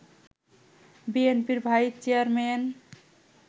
বিএনপির vice chairman